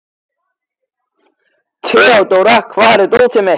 Theodóra, hvar er dótið mitt?